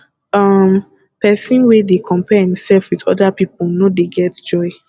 um pesin wey dey compare imsef wit oda pipo no dey get joy